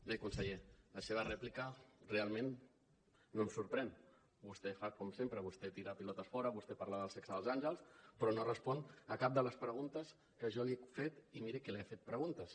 bé conseller la seva rèplica realment no em sorprèn vostè fa com sempre vostè tira pilotes fora vostè parla del sexe dels àngels però no respon a cap de les preguntes que jo li he fet i miri que li he fet preguntes